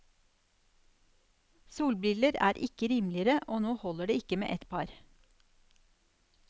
Solbriller er ikke rimeligere, og nå holder det ikke med ett par.